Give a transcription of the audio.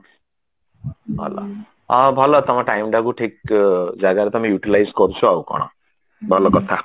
ଭଲ ହଁ ଭଲ ତମ time ଟାକୁ ଠିକ ଜାଗାରେ ତମେ Utilize କରୁଛ ଆଉ କଣ ଭଲ କଥା